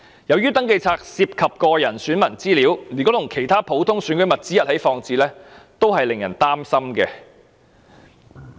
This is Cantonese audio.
由於登記冊涉及選民個人資料，如果與其他普通選舉物資一起放置，是會令人感到擔憂的。